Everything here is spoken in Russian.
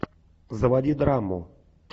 заводи драму